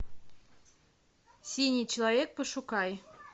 синий человек пошукай